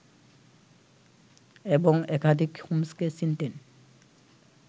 এবং একাধিক ‘হোমস্’কে চিনতেন